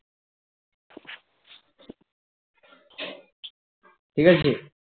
ঠিকাছে